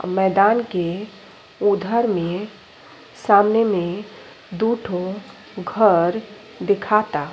मैदान के उधर में सामने में दुठो घर दिखाता।